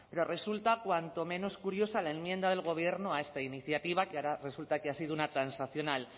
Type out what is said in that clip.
pero resulta cuanto menos curiosa la enmienda del gobierno a esta iniciativa que ahora resulta que ha sido una transaccional